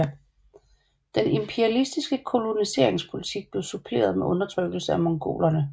Den imperialistiske koloniseringspolitik blev suppleret med undertrykkelse af mongolerne